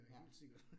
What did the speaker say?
Ja